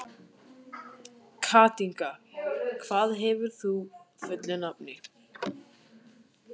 Katinka, hvað heitir þú fullu nafni?